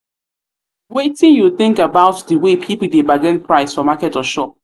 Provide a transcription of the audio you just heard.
wetin you think about di way people dey bargain price for market or shop?